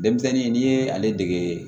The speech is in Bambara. Denmisɛnnin n'i ye ale dege